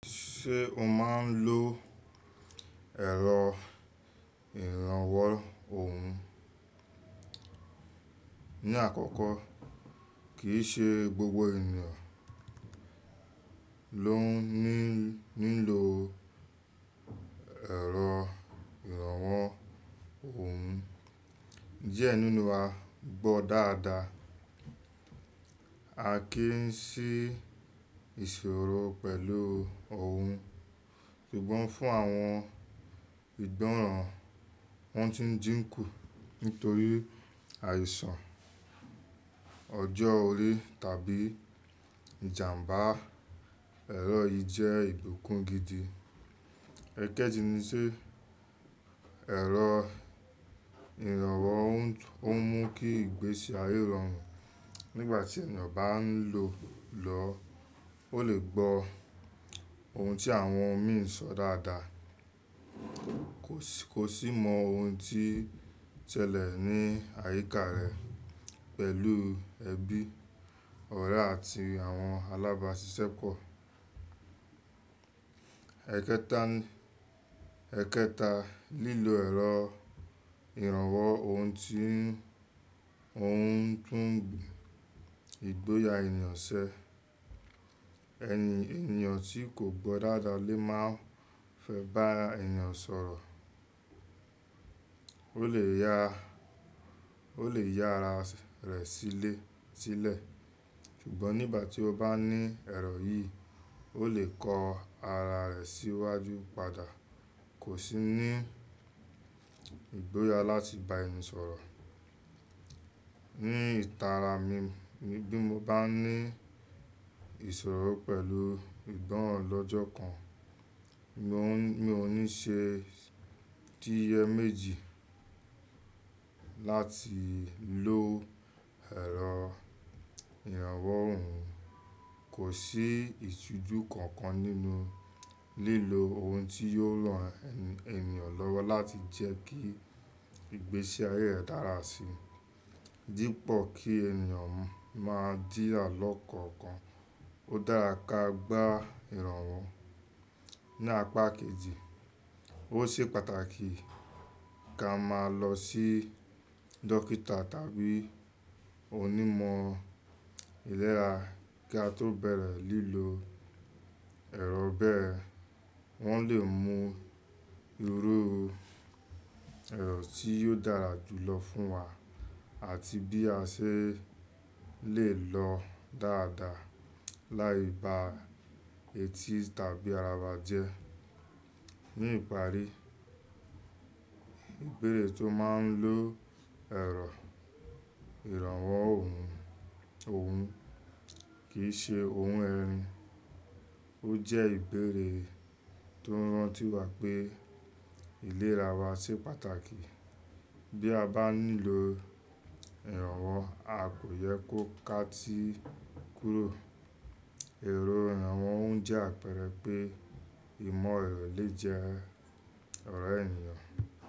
Ṣé o máa ń lo ẹ̀rọ ìrànwọ́ ohùn? Ni àkọ́kọ́, kì í ṣe gbogbo ènìyàn ló ń ní ní lo ẹ̀rọ ìrànwọ́ ohùn. Diẹ nínú wa gbọ́ dáadáa, a kì í ṣí ìṣòro pẹ̀lú ohùn. Ṣùgbọ́n fún àwọn ìgbọ́ràn, wọ́n ti ń jíǹkù nítorí àìsàn ọjọ́ orí tàbí ìjàmbá. Ẹ̀rọ yìí jẹ́ ìbukùn gidi. Ẹ̀kẹ́jì ni pé ẹ̀rọ ìrànwọ́ ohùn ó mú kí ìgbésí ayé rọrùn. Nígbà tí ènìyàn bá ń lò ó lọ, ó lè gbó ohun tí àwọn òmíràn ń sọ dáadáa, kó sì mọ ohun tí ń ṣẹlẹ̀ ní àyíká rẹ̀ pẹ̀lú ẹbí, ọ̀rẹ́ àti àwọn alábàáṣiṣẹ́pọ̀. Ẹ̀kẹta, lílo ẹ̀rọ ìrànwọ́ ohùn tí ó ń tún ìgboyà ènìyàn ṣe. Ẹni, ènìyàn tí kò gbọ́ dáadáa lè má fẹ́ bá ènìyàn sọ̀rọ̀, ó lè ya, ó lè ya ara rẹ̀ sílẹ̀. Ṣùgbọ́n nígbà tí ó bá ní ẹ̀rọ yìí, ó lè kọ ara rẹ̀ síwájú padà, kò sì ní ìgboyà láti bá ẹni sọ̀rọ̀. Ni ìtara mi, bí mo bá ní ìṣòro pẹ̀lú ìgbọ́ràn lọ́jọ́ kan, mi ò ní ṣe t'iye méjì láti lo ẹ̀rọ ìrànwọ́ ohùn. Kò sí ìtujú kankan nínú lílo ohun tí yóò ran ènìyàn lọ́wọ́ láti jẹ́ kí ìgbésí ayé rẹ dára sí i. Dípò kí ènìyàn máa dí àlọ́ kan kan, ó dára ká gbá ìrànwọ́ ní apá kejì. Ó ṣe pàtàkì ká máa lọ sí dókítà tàbí onímọ̀ ìlera kí a tó bẹ̀rẹ̀ lílo ẹ̀rọ bẹ́ẹ̀. Wọ́n lè mú irú ẹ̀rọ tí yóò dára jù lọ fún wa àti bí a ṣe lè lò ó dáadáa, láì ba eti tàbí ara wàjẹ́. Ní ìparí, ìbéèrè tó máa ń lo ẹ̀rọ ìrànwọ́ ohùn, ohùn kì í ṣe ohun ẹ̀rìn. Ó jẹ́ ìbéèrè tó ń rántí wa pé ìlera wa ṣe pàtàkì. Bí a bá ní lo ìrànwọ́, a kò yẹ kó káa tí kúrò. Ẹ̀rọ ìrànwọ́ ń jẹ́ àpẹẹrẹ pé ìmọ̀ rẹ̀ lẹ̀ jẹ́ ọ̀rẹ́ ènìyàn.